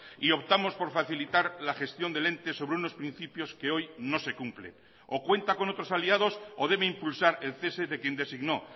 y optamos por facilitar la gestión del ente sobre unos principios que hoy no se cumple o cuenta con otros aliados o debe impulsar el cese de quien designó